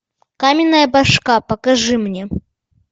каменная башка покажи мне